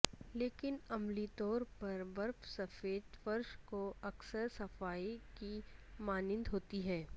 لیکن عملی طور پر برف سفید فرش کو اکثر صفائی کی مانند ہوتی ہے